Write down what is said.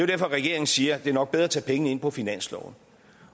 derfor regeringen siger at det nok er bedre at tage pengene ind på finansloven